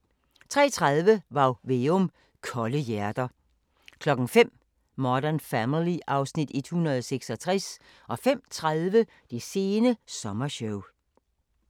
03:30: Varg Veum - Kolde hjerter 05:00: Modern Family (Afs. 166) 05:30: Det sene sommershow